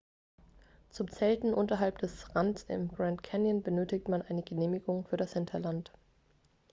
zum zelten unterhalb des rands im grand canyon benötigt man eine genehmigung für das hinterland